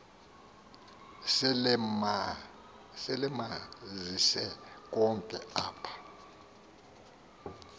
selemanzise konke apha